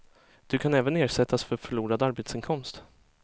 Du kan även ersättas för förlorad arbetsinkomst.